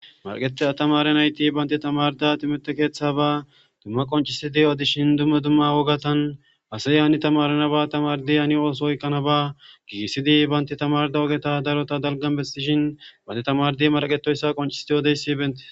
marqete atamare nayti baynte tamarda timeteqeeththaba dumma qoncisidi odishin dumma dumma wogatan hasay hani tamarenaba tamardi hani ooso oykkanaba giigisidi baynti tamarda ogeta darota dalgan besishin bante tamardi maraqetoyssa qoncisidi odeyssi bente